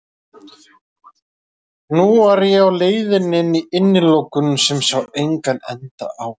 Nú var ég á leiðinni í innilokun sem ég sá engan enda á.